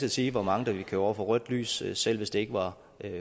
at sige hvor mange der ville køre over for rødt lys selv hvis det ikke var